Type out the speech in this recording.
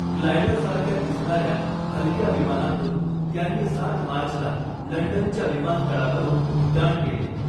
ग्लायडरसारख्या दिसणाऱ्या हलक्या विमानातून त्यांनी सात मार्चला लंडनच्या विमानतळावरून उड्डाण केले.